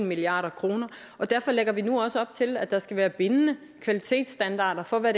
milliard kr og derfor lægger vi nu op til at der skal være bindende kvalitetsstandarder for hvad